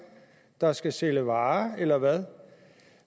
der skal sælge varer eller hvad